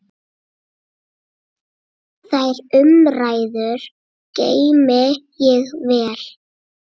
Þær umræður geymi ég vel.